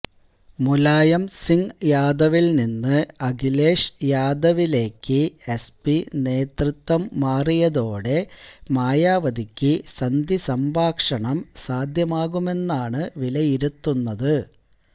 മുലായം സിംഗ് യാദവിൽ നിന്ന് അഖിലേഷ് യാദവിലേക്ക് എസ്പി നേതൃത്വം മാറിയതോടെ മായാവതിക്ക് സന്ധി സംഭാഷണം സാധ്യമാകുമെന്നാണ് വിലയിരുത്തുന്നത്